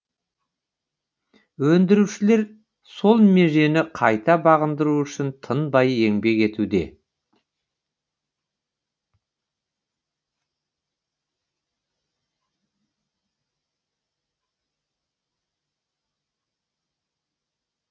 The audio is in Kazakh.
өндірушілер сол межені қайта бағындыру үшін тынбай еңбек етуде